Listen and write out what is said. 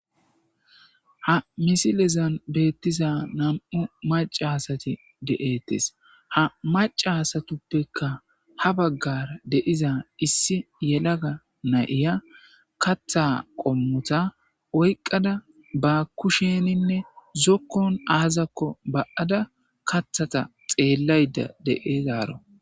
ha misilezan beettiza nam7u macasati de7ettes ha macasatuppeka ha baggara deiza issi yelaga nayiya katha qommota oyqqada ba kusheninne zokkon aazakko ba7ada kathata xeellayda deeezaaro